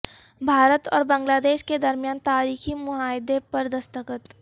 بھارت اور بنگلہ دیش کے درمیان تاریخی معاہدے پر دستخط